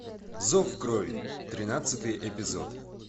зов крови тринадцатый эпизод